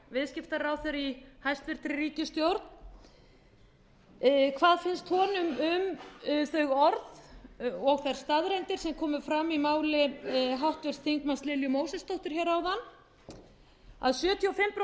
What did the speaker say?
viðskiptaráðherra í hæstvirtri ríkisstjórn hvað finnst honum um þau orð og þær staðreyndir sem komu fram í máli háttvirts þingmanns lilju mósesdóttur áðan að sjötíu og fimm prósent af þeim aðilum